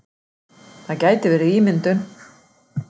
Það gæti verið ímyndun.